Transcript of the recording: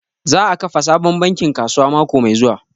Za a kafa sabon bankin kasuwa mako mai zuwa